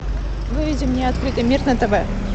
выведи мне открытый мир на тв